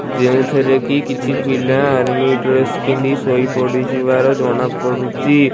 ଯେଉଁଥିରେ କି କିଛି ପିଲା ଆର୍ମି ଡ୍ରେସ୍ ପିନ୍ଧି ଶୋଇ ପଡ଼ିଯିବାର ଜଣା ପଡୁଚି ।